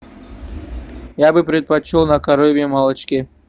я бы предпочел на коровьем молочке